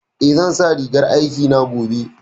Eh, zan sa rigar aikina gobe